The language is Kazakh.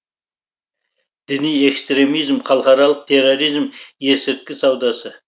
діни экстремизм халықаралық терроризм есірткі саудасы